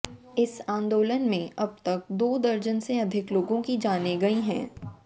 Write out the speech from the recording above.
इस आंदोलन में अब तक दो दर्जन से अधिक लोगों की जानें गई हैं